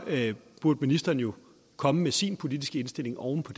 burde ministeren jo komme med sin politiske indstilling oven på